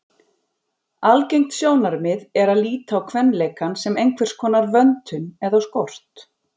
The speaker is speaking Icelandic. Algengt sjónarmið er að líta á kvenleikann sem einhverskonar vöntun eða skort.